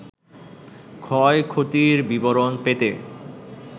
ক্ষয়ক্ষতির বিবরণ পেতে